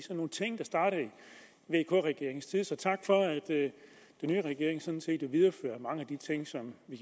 vk regeringens tid så tak for at den nye regering sådan set viderefører mange af de ting som